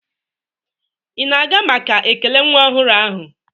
Ị na-aga maka ekele nwa ọhụrụ ahụ?